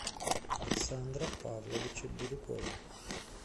александра павловича бирюкова